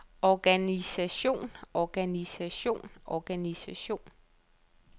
organisation organisation organisation